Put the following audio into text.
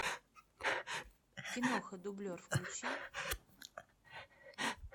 киноха дублер включи